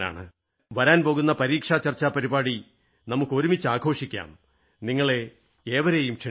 വരാൻപോകുന്ന പരീക്ഷാചർച്ച പരിപാടി നമുക്ക് ഒരുമിച്ച് ആഘോഷിക്കാം നിങ്ങളെ ഏവരെയും ക്ഷണിക്കുന്നു